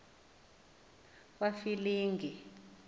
kwafilingi